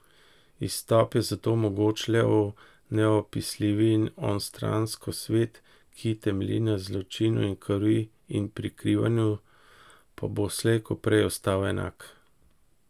Izstop je zato mogoč le v neopisljivo in onstransko, svet, ki temelji na zločinu in krvi in prikrivanju, pa bo slej ko prej ostal enak.